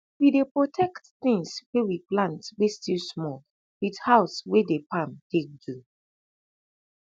we dey protect tins wey we plant wey still small wit house wey dey palm tak do